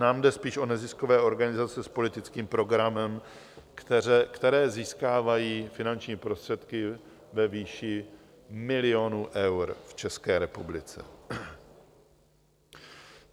Nám jde spíš o neziskové organizace s politickým programem, které získávají finanční prostředky ve výši milionů eur v České republice.